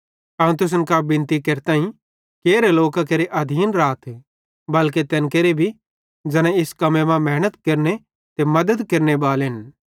अवं तुसन कां बिनती केरताईं कि एरे लोकां केरे अधीन राथ बल्के तैन केरे भी ज़ैना इस कम्मे मां मेहनत केरतन ते मद्दत केरनेबालन